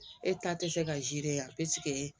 E ta te se ka yan ɛsike